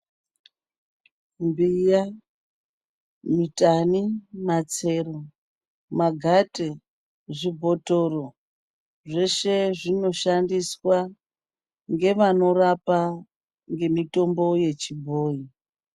Mbiya, mitani, matsero, magate nezvibhotoro zveshe zvinoshandiswa ngevanorapa ngemutombo yechibhoyi.